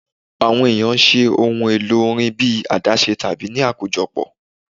Awọn eniyan ṣe awọn ohun elo orin bi adashe tabi ni akojọpọ